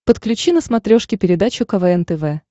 подключи на смотрешке передачу квн тв